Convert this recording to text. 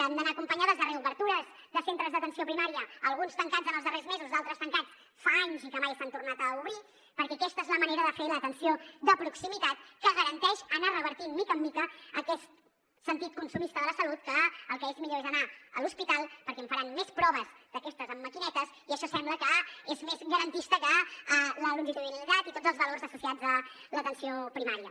han d’anar acompanyades de reobertures de centres d’atenció primària alguns tancats en els darrers mesos d’altres tancats fa anys i que mai s’han tornat a obrir perquè aquesta és la manera de fer l’atenció de proximitat que garanteix anar revertint de mica en mica aquest sentit consumista de la salut que el que és millor és anar a l’hospital perquè em faran més proves d’aquestes amb maquinetes i això sembla que és més garantista que la longitudinalitat i tots els valors associats a l’atenció primària